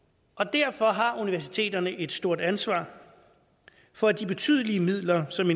derfor har universiteterne et stort ansvar for at de betydelige midler som